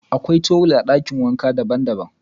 Akwai tuwil daban-daban a dakin wankan Ade.